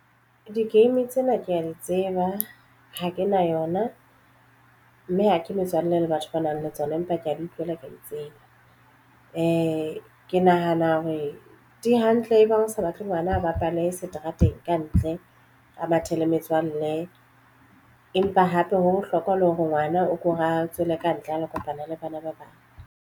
Di-game tsena ke ya di tseba ha ke na yona mme ha ke metswalle le batho ba nang le tsona empa ke ya di utlwela ke ya di tseba ke nahana hore di hantle ebang o sa batle ngwana a bapale seterateng kantle a mathe le metswalle. Empa hape ho bohlokwa le hore ngwana o ko ra tswela kantle a lo kopana le bana ba bang.